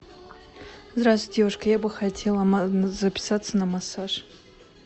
здравствуйте девушка я бы хотела записаться на массаж